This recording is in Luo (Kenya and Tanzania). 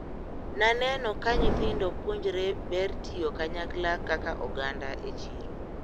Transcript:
Naneno ka nyithindo puonjre ber tiyo kanyakla kaka oganda e chiro.